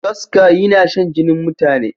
Kaska yinashan jinin mutane.